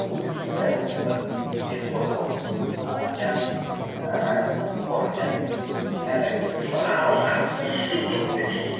соның бірі осы бізде хор болып ііі яғни ііі хор яғни ән айту халық алдында топпен